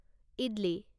idli